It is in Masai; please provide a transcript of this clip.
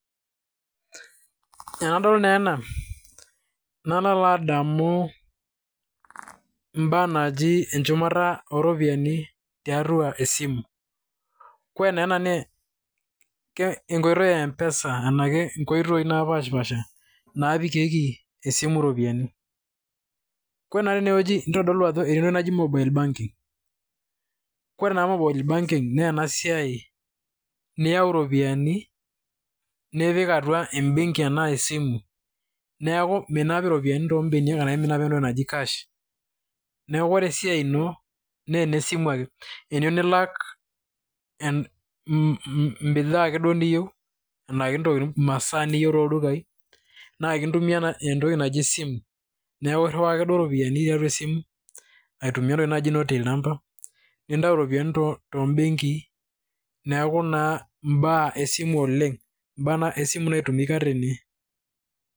Tenadol naa ena , nali alo adamu, ibaa naji enchumata ooropiani tiatua esimu. Ore naa ena naa enkoitoi ee mpesa ena nkoitoi napash pasha naapikikie esimu iropiani. Ore naa teneweji nitodolu entoki naji mobile banking. Ore naa mobile banking naa ena siai niyau iropiani nipik atua ebenki anaa esimu. Neeku minap iropiani too beniak ashu entoki naji cash. Neeku ore esiai ino , ene simu ake. Teniyou nilak bidhaa ake duo niyeu enaa imasaa niyou too ldukai naa kintumia entoki naji sim neekuirawa ake duo iropiani tiatua esimu aitumia entoki najii noo till number ,nintayu iropiani too benkii. Neeku naa ibaa esimu oleng naitumika tene.